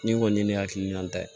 Ni kɔni ye ne hakilina ta ye